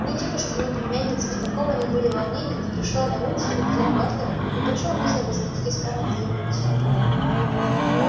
и ни тётушке ни племяннице в таком они были волнении не пришло на ум что капитан батлер не почёл нужным возвратить и скарлетт её кольцо